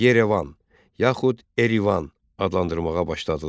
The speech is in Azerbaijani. Yerevan, yaxud Erivan adlandırmağa başladılar.